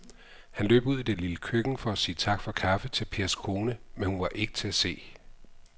Han løb ud i det lille køkken for at sige tak for kaffe til Pers kone, men hun var ikke til at se.